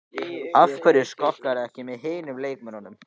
Af hverju skokkarðu ekki með hinum leikmönnunum?